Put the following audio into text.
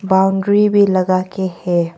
Boundary भी लगा के है।